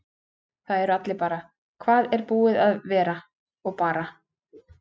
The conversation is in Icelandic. Það eru allir bara: Hvar er þetta búið að vera? og bara.